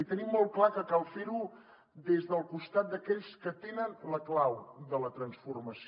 i tenim molt clar que cal fer ho des del costat d’aquells que tenen la clau de la transformació